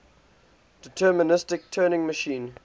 deterministic turing machine